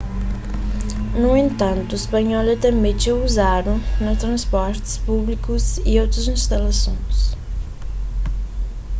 nu entantu spanhol é tanbê txeu uzadu na transportis públikus y otus instalason